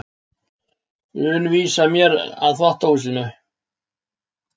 un vísa mér að þvottahúsinu.